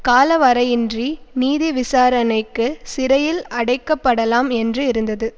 காலவரையின்றி நீதிவிசாரணைக்கு சிறையில் அடைக்கப்படலாம் என்று இருந்தது